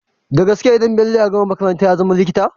Dagaske idan bello ya gama makaranta yazama likita?